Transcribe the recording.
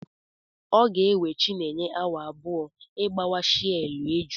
Ọ ga-ewe chinenye awa abụọ ịgbawa shei eju.